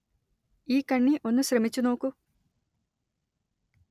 ഈ കണ്ണി ഒന്നു ശ്രമിച്ചു നോക്കൂ